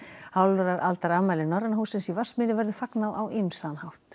hálfrar aldar afmæli Norræna hússins í Vatnsmýri verður fagnað á ýmsan hátt